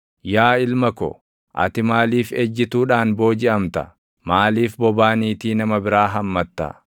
Yaa ilma ko, ati maaliif ejjituudhaan boojiʼamta? Maaliif bobaa niitii nama biraa hammatta?